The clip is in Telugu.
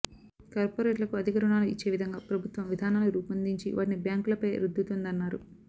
కార్పొరేట్లకు అధిక రుణా లు ఇచ్చే విధంగా ప్రభుత్వం విధానాలు రూపొందించి వాటిని బ్యాంకు లపై రుద్దుతుందన్నారు